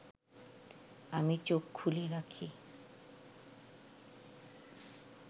আমি চোখ খুলে রাখি